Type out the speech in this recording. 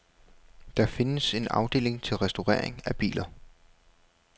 Der findes en afdeling til restaurering af biler.